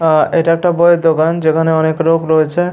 আহ এটা একটা বই এর দোকান যেখানে অনেক লোক রয়েছে।